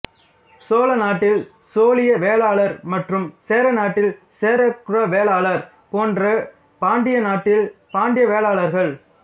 சோழநாட்டில் சோழிய வேளாளர் மற்றும் சேரநாட்டில் சேரகுல வேளாளர் போன்று பாண்டிய நாட்டில் பாண்டிய வேளாளர்கள்